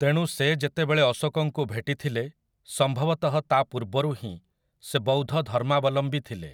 ତେଣୁ ସେ ଯେତେବେଳେ ଅଶୋକଙ୍କୁ ଭେଟିଥିଲେ ସମ୍ଭବତଃ ତା ପୂର୍ବରୁ ହିଁ ସେ ବୌଦ୍ଧ ଧର୍ମାବଲମ୍ବୀ ଥିଲେ ।